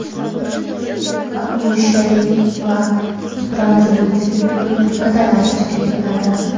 akusherlik va patronaj bo‘yicha tibbiyot brigadalari tashkil etiladi.